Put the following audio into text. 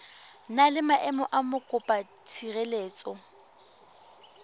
na le maemo a mokopatshireletso